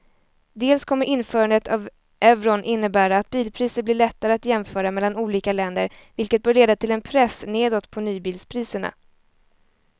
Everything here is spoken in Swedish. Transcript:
Dels kommer införandet av euron innebära att bilpriser blir lättare att jämföra mellan olika länder vilket bör leda till en press nedåt på nybilspriserna.